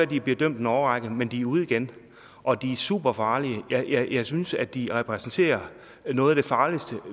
de bliver dømt en årrække men de er ude igen og de er superfarlige jeg synes at de repræsenterer noget af det farligste